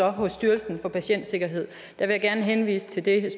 hos styrelsen for patientsikkerhed vil jeg gerne henvise til det